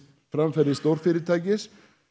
framferði stórfyrirtækisins